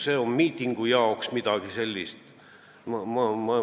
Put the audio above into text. See on midagi miitingu jaoks.